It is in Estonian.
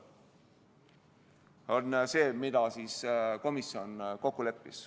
" See on see, milles komisjon kokku leppis.